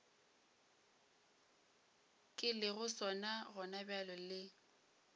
ke lego sona gonabjale le